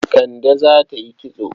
Kande za ta yi kitso.